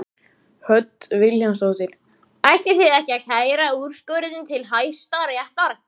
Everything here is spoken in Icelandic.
Hödd Vilhjálmsdóttir: Ætlið þið að kæra úrskurðinn til Hæstaréttar?